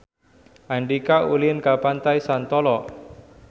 Andika ulin ka Pantai Santolo